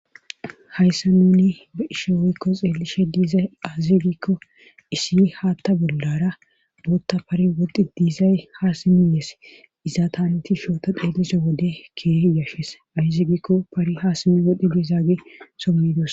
Hayssa nuni ba ishe woykko xeelishe diizay azigikko isi haatta bollara bootta pari wodi diizay haasimiyees izaataneti shooto dheelise wode kee yashes ayzigikko pari haasimi wodi diizagi sommidos.